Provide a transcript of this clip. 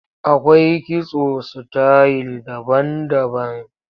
Akwai kitso sitayil daban-daban.